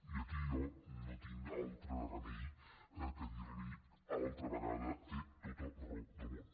i aquí jo no tinc altre remei que dir li altra vegada té tota raó del món